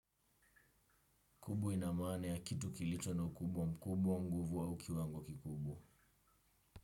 Kubu ina maana ya kitu kilicho no ukubwa mkubwa au nguvu au kiwango kikubwa.